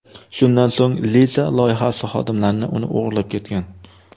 Shundan so‘ng Lisa loyihasi xodimlarini uni o‘g‘irlab ketgan.